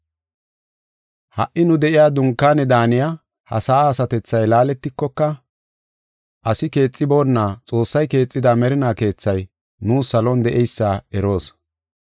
Ha77i nu de7iya dunkaane daaniya ha sa7a asatethay laaletikoka, asi keexiboonna, Xoossay keexida merinaa keethay nuus salon de7eysa eroos.